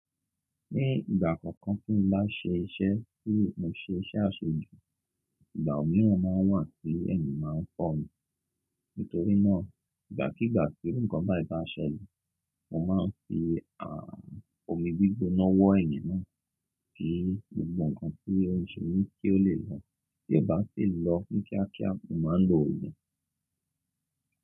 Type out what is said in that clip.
Ní ìgbà kọ̀ọ̀kan tí mo bá ṣe iṣẹ́, kí n ṣe iṣẹ́ àṣejù, ìgbà mìíràn máa wà tí ẹ̀mí máa ń pọ̀ mí. Nítorí náà, ìgbàkígbà tí iru kan báyii bá ṣẹ́le mo máa ń fi a, omi gbígbóná wọ ẹ̀yìn náà kí gbogbo nkn to n semi kí ó lè lọ. Tí ó bá sì lọ ni kíákíá, mo máa ń lo ogun.